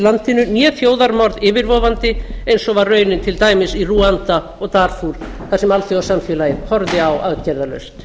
landinu né þjóðarmorð yfirvofandi eins og var raunin til dæmis í rúanda og darfúr þar sem alþjóðasamfélagið horfði á aðgerðalaust